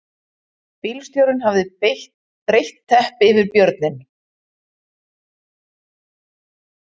Bílstjórinn hafði breitt teppi yfir björninn